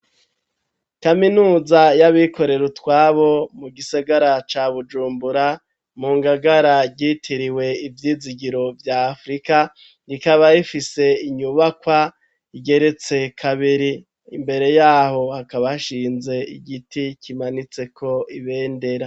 Kaminuza y'abikorera utwabo mu gisagara ca Bujumbura mu ngagara ryitiriwe ivyizigiro vya Afurika, rikaba rifise inyubakwa igeretse kabiri imbere yaho hakaba hashinze igiti kimanitseko ibendera.